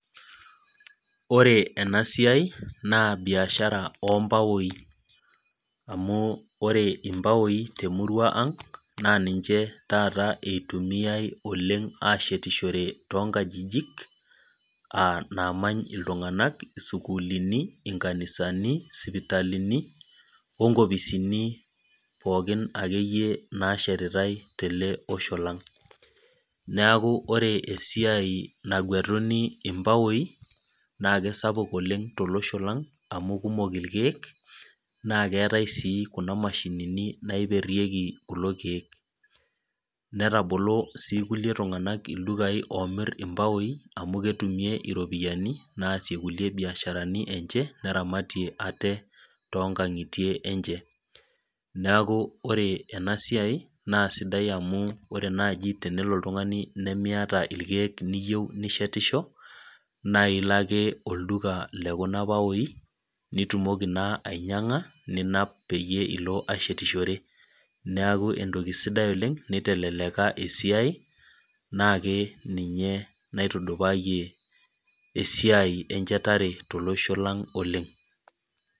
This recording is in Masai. Ore ena siai naa biashara oo mpaoi, ore impaoi temurua ang' naa ninche taata eirumiyai oleng' ashetishore oleng' too inkajijik, aa namany iltung'anak, isukuulini, inkanisani, isipitalini o nkopisini pookin ake iyie naashetitai tele osho lang'. Neaku ore esiai nagwetuni impaoi naake sapuk oleng' tolosho lang' amu kumok ilkeeek naa keatai sii kuna mashinini, naiperieki kulo keek, netabolo sii ilkulie tung'anak ildukai oomir impaoi amu ketumie iropiani naasie kulie biasharani enye, neramatie aate too inkang'itie enye. Neaku ore ena siai naa sidai amu ore naaji tenelo oltung'ani nimiata ilkeek niyou nishetisho, naa ilo ake olduka le kuna paoi, nitumoki naa ainyang'a naa peyie io ashetishore neaku entoki sidai oleng' neiteleleka esisi naake ninye naitudupaayie esiai enchetare tolosho lang' oleng'.